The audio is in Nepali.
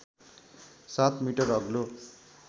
७ मिटर अग्लो